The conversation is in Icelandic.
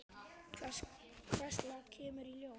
Hvers lags kemur í ljós.